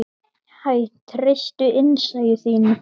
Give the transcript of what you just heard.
Hæ, treystu innsæi þínu.